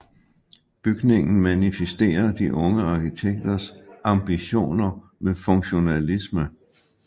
Bygningen manifesterer de unge arkitekters ambitioner med funktionalisme